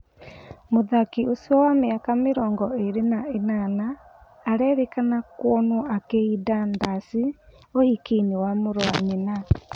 Mũthaki ũcio wa mĩaka mĩrongo ĩrĩ na ĩnana arerĩkana kuonwo akĩĩnda ndaci ũhikiinĩ wa mũrũ wa nyina.